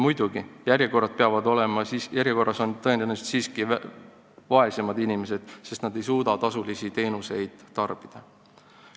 Muidugi, järjekorras on tõenäoliselt siiski vaesemad inimesed, sest nemad ei suuda tasulisi teenuseid tarbida.